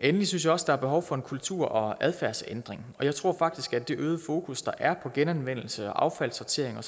endelig synes jeg også der er behov for en kultur og adfærdsændring jeg tror faktisk at det øgede fokus der er på genanvendelse og affaldssortering